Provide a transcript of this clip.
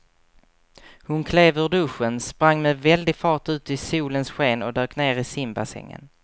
Hon klev ur duschen, sprang med väldig fart ut i solens sken och dök ner i simbassängen.